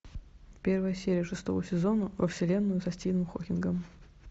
первая серия шестого сезона во вселенную со стивеном хокингом